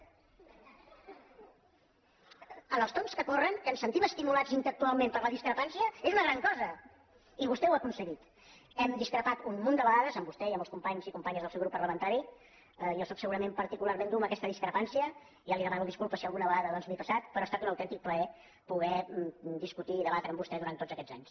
en els temps que corren que ens sentim es·timulats intel·lectualment per la discrepància és una gran cosa i vostè ho ha aconseguit hem discrepat un munt de vegades amb vostè i amb els companys i companyes del seu grup parlamentari jo sóc segu·rament particularment dur amb aquesta discrepància i ja li demano disculpes si alguna vegada doncs m’he passat però ha estat un autèntic plaer poder discutir i debatre amb vostè durant tots aquests anys